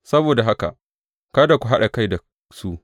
Saboda haka kada ku haɗa kai da su.